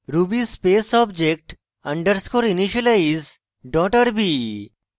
ruby space object underscore initialize dot rb